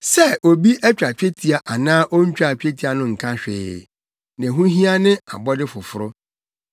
Sɛ obi atwa twetia anaa ontwaa twetia no nka hwee. Nea ɛho hia ne abɔde foforo.